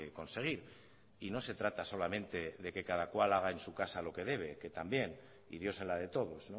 conseguir y no se trata solamente de que cada cual haga en su casa lo que debe que también y dios en la de todos